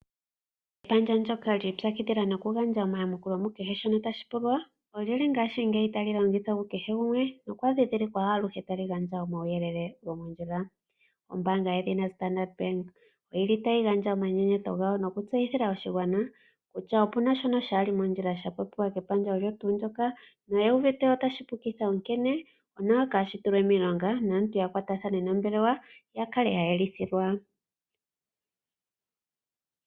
Epandja lyoka li ipakidhila nokugandja omayamukule mu kehe shoka tashi pulwa nondjili ngashi ngeyi tali longithwa ku kehe gumwe. Okwa dhi dhilikwa aluhe tali gandja omauyelele gomondjila, ombanga yedhina Standardbank oyili tayi gandja omanyenyeto gawo noku tseyithila oshigwana kutya opuna shoka kashili mondjila sha popiwa kepandja olo tu ndjoka noye uvite otashi pukitha, onkene onawa ka shitulwe miilonga naantu ya kwatathane nombelewa ya kale ya yelithilwa.